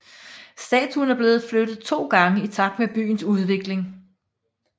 Statuen er blevet flyttet to gange i takt med byens udvikling